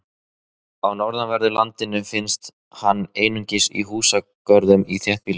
Á norðanverðu landinu finnst hann einungis í húsagörðum í þéttbýli.